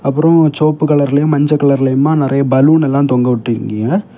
அப்புறம் சோப்பு கலர்லையும் மஞ்ச கலர்லையும்மா நறைய பலூன் எல்லா தொங்கவிட்டுருக்கீங்க.